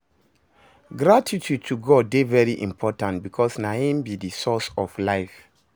Gratitude to God de very important because na im be di source of life